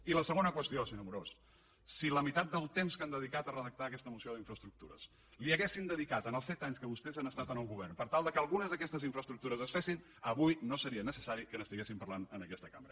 i la segona qüestió senyor amorós si la meitat del temps que han dedicat a redactar aquesta moció d’infraestructures l’haguessin dedicat als set anys que vostès han estat en el govern per tal que algunes d’aquestes infraestructures es fessin avui no seria necessari que n’estiguessin parlant en aquesta cambra